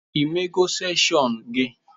I mego inisieshon gị?